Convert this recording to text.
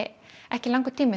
ekki langur tími